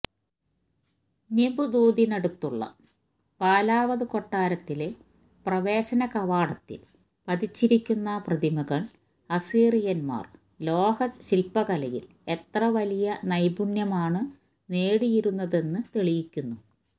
നിമ്ദൂദിനടുത്തുള്ള ബാലാവത് കൊട്ടാരത്തിലെ പ്രവേശനകവാടത്തിൽ പതിച്ചിരിക്കുന്ന പ്രതിമകൾ അസീറിയൻമാർ ലോഹശില്പകലയിൽ എത്രവലിയ നൈപുണ്യമാണ് നേടിയിരുന്നതെന്നു തെളിയിക്കുന്നു